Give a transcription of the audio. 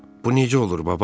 Bu necə olur, baba?